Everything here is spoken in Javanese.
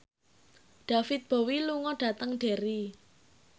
David Bowie lunga dhateng Derry